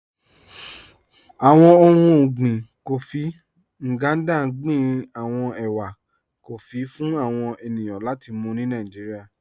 Àwọn ọ̀hun ọ̀gbìn kófí Ngandà gbìn àwọn èwà kófí fún àwọn ènìyàn láti mú ni Nàìjíríà.